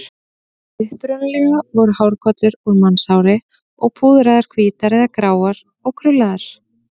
Upprunalega voru hárkollurnar úr mannshári og púðraðar hvítar eða gráar og krullaðar.